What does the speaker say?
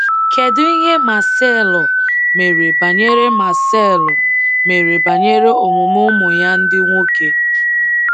Kedụ ihe Marcelo mere banyere Marcelo mere banyere omume ụmụ ya ndị nwoke?